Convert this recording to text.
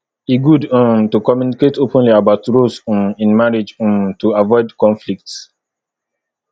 e good um to communicate openly about roles um in marriage um to avoid conflicts